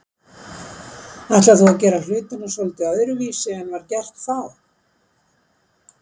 Ætlar þú að gera hlutina svolítið öðruvísi en var gert þá?